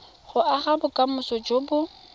go aga bokamoso jo bo